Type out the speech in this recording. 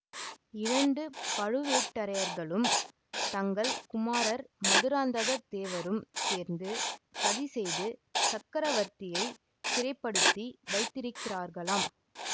இரண்டு பழுவேட்டரையர்களும் தங்கள் குமாரர் மதுராந்தக தேவரும் சேர்ந்து சதி செய்து சக்கரவர்த்தியை சிறைப்படுத்தி வைத்திருக்கிறார்களாம்